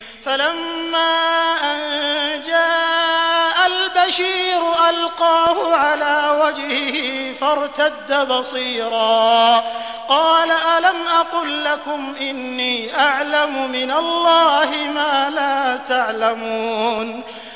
فَلَمَّا أَن جَاءَ الْبَشِيرُ أَلْقَاهُ عَلَىٰ وَجْهِهِ فَارْتَدَّ بَصِيرًا ۖ قَالَ أَلَمْ أَقُل لَّكُمْ إِنِّي أَعْلَمُ مِنَ اللَّهِ مَا لَا تَعْلَمُونَ